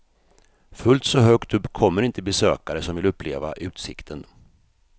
Fullt så högt upp kommer inte besökare som vill uppleva utsikten.